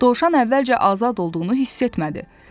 Dovşan əvvəlcə azad olduğunu hiss etmədi.